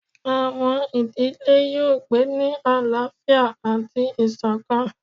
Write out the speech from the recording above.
Awọn idile yoo gbe ni alaafia ati isokan